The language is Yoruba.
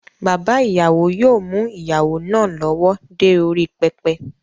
Bàbá ìyàwó yóò mú ìyàwó náà lọ́wọ́ dé orí pẹpẹ